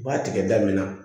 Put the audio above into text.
U b'a tigɛ da min na